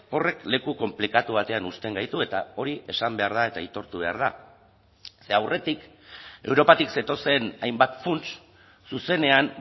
horrek leku konplikatu batean uzten gaitu eta hori esan behar da eta aitortu behar da ze aurretik europatik zetozen hainbat funts zuzenean